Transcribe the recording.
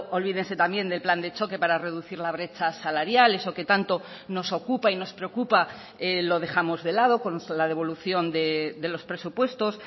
olvídense también del plan de choque para reducir la brecha salarial eso que tanto nos ocupa y nos preocupa lo dejamos de lado con la devolución de los presupuestos